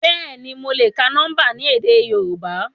Bẹ́ẹ̀ni, mo le ka nọmba ni édé Yorùbá.